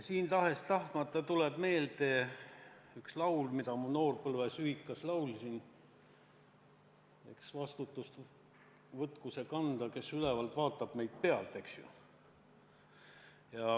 Siin tuleb tahes-tahtmata meelde üks laul, mida ma noorpõlves ühikas laulsin: "Eks vastutust võta see kanda, kes ülevalt vaatab meid pealt.